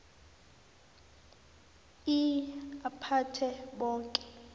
ii aphathe boke